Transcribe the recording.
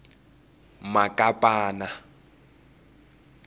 makapana